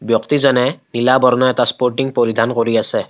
ব্যক্তিজনে নীলা বৰণৰ এটা স্পৰ্টিং পৰিধান কৰি আছে।